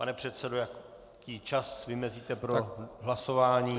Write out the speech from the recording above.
Pane předsedo, jaký čas vymezíte pro hlasování?